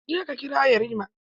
Je ka kira yarima!